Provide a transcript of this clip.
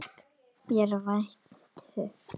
Fékk mér vænan teyg.